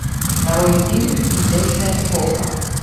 нарой фильм изящная эпоха